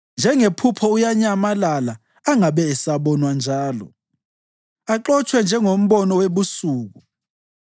Njengephupho uyanyamalala angabe esabonwa njalo, axotshwe njengombono webusuku.